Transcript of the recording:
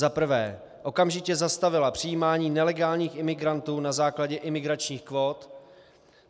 za prvé okamžitě zastavila přijímání nelegálních imigrantů na základě imigračních kvót;